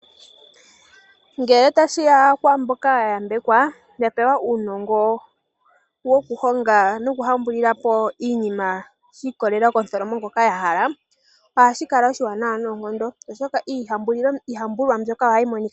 Ngele tashiya kwaamboka ya yambekwa, yapewa uunongo woku honga noku hambulila po iinima shiikololela komutholomo ngono ya hala, ohashi kala oshiwanawa noonkondo, oshoka iihambulwa mbyoka ohayi monika nawa.